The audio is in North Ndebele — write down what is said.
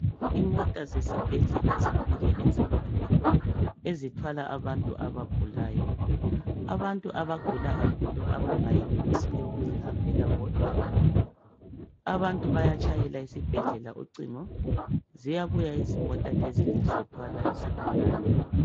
Imota zesibhedlela zimile ezimbili ezithwala abantu abagulayo Abantu abagula kakhulu abangayenelisiyo ukuzihambela bodwa abantu bayatshayela esibhedlela ucingo ziyabuya izimota lezi zizothwala izigulane